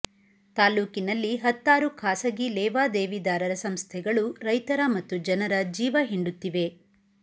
ತಾಲ್ಲೂಕಿನಲ್ಲಿ ಹತ್ತಾರು ಖಾಸಗಿ ಲೇವಾದೇವಿದಾರರ ಸಂಸ್ಥೆಗಳು ರೈತರ ಮತ್ತು ಜನರ ಜೀವ ಹಿಂಡುತ್ತಿವೆ